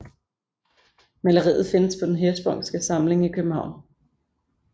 Maleriet findes på Den Hirschsprungske Samling i København